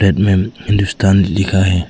Side में हिंदुस्तान लिखा है।